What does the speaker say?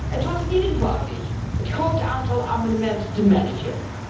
Het was niet eenvoudig het groot aantal amendementen te managen.